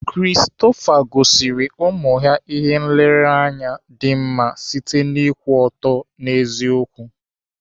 Christopher gosiri ụmụ ihe nlereanya dị mma site n'ịkwụ ọtọ n'eziokwu.